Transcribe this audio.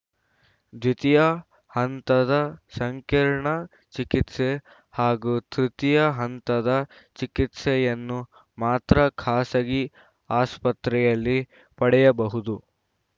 ದ್ವಿತೀಯ ಹಂತದ ಸಂಕೀರ್ಣ ಚಿಕಿತ್ಸೆ ಹಾಗೂ ತೃತೀಯ ಹಂತದ ಚಿಕಿತ್ಸೆಯನ್ನು ಮಾತ್ರ ಖಾಸಗಿ ಆಸ್ಪತ್ರೆಯಲ್ಲಿ ಪಡೆಯಬಹುದು